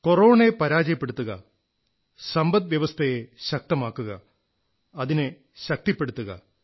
കൊറോണയെ പരാജയപ്പെടുത്തുക സമ്പദ്വ്യവസ്ഥയെ ശക്തമാക്കുക അതിനെ ശക്തിപ്പെടുത്തുക